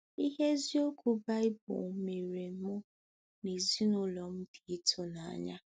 Ihe eziokwu Baịbụl meere mụ na ezinụlọ m dị ịtụnanya.